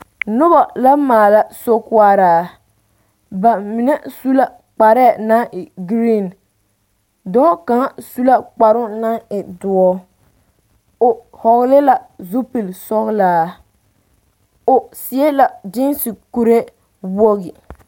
Noba la maala sokoɔraa ba mine su la kparɛɛ naŋ e green dɔɔ kaŋa su la kparoŋ naŋ e doɔ o vɔgle la zupilsɔglaa o seɛ la gyiisi kuree wogi.